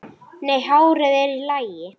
Nei, hárið er í lagi.